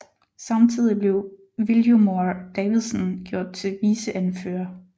Samtidigt blev Viljormur Davidsen gjort til viceanfører